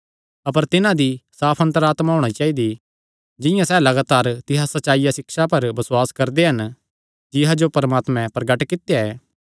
अपर तिन्हां दी साफ अन्तर आत्मा होणी चाइदी जिंआं सैह़ लगातार तिसा सच्चिया सिक्षा पर बसुआस करदे हन जिसा जो परमात्मे प्रगट कित्या ऐ